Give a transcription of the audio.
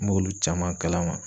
N b'olu caman kalama.